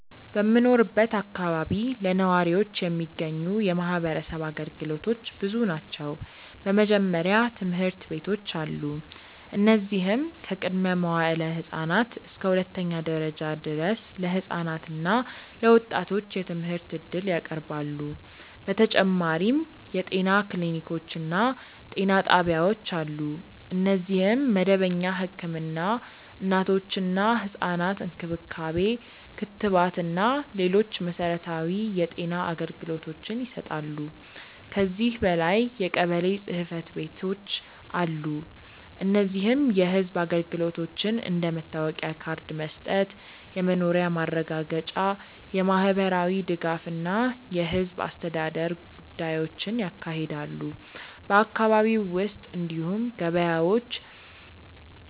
በምኖርበት አካባቢ ለነዋሪዎች የሚገኙ የማህበረሰብ አገልግሎቶች ብዙ ናቸው። በመጀመሪያ ትምህርት ቤቶች አሉ፣ እነዚህም ከቅድመ-መዋዕለ ህፃናት እስከ ሁለተኛ ደረጃ ድረስ ለህፃናት እና ለወጣቶች የትምህርት እድል ያቀርባሉ። በተጨማሪም የጤና ክሊኒኮች እና ጤና ጣቢያዎች አሉ፣ እነዚህም መደበኛ ህክምና፣ እናቶችና ህፃናት እንክብካቤ፣ ክትባት እና ሌሎች መሠረታዊ የጤና አገልግሎቶችን ይሰጣሉ። ከዚህ በላይ የቀበሌ ጽ/ቤቶች አሉ፣ እነዚህም የህዝብ አገልግሎቶችን እንደ መታወቂያ ካርድ መስጠት፣ የመኖሪያ ማረጋገጫ፣ የማህበራዊ ድጋፍ እና የህዝብ አስተዳደር ጉዳዮችን ያካሂዳሉ። በአካባቢው ውስጥ እንዲሁም ገበያዎች፣